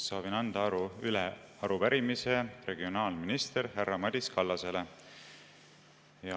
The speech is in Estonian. Soovin anda üle arupärimise regionaalminister härra Madis Kallasele.